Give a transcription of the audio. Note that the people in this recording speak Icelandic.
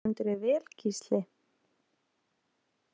Þú stendur þig vel, Gísli!